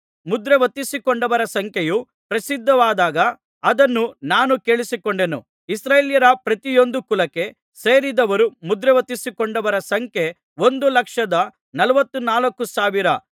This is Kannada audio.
ಮುದ್ರೆ ಒತ್ತಿಸಿಕೊಂಡವರ ಸಂಖ್ಯೆಯು ಪ್ರಸಿದ್ಧವಾದಾಗ ಅದನ್ನು ನಾನು ಕೇಳಿಸಿಕೊಂಡೆನು ಇಸ್ರಾಯೇಲ್ಯರ ಪ್ರತಿಯೊಂದು ಕುಲಕ್ಕೆ ಸೇರಿದವರು ಮುದ್ರೆಯೊತ್ತಿಸಿಕೊಂಡವರ ಸಂಖ್ಯೆ ಒಂದು ಲಕ್ಷದ ನಲವತ್ತನಾಲ್ಕು ಸಾವಿರ